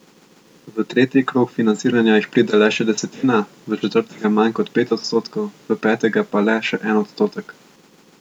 V tretji krog financiranja jih pride le še desetina, v četrtega manj kot pet odstotkov, v petega pa le še en odstotek.